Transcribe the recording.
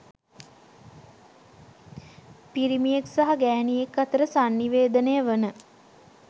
පිරිමියෙක් සහ ගැහැනියක් අතර සන්නිවේදනය වන